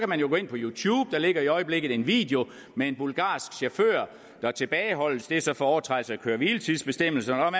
man jo gå ind på youtube for der ligger i øjeblikket en video med en bulgarsk chauffør der tilbageholdes det er så for overtrædelse af køre hvile tids bestemmelserne og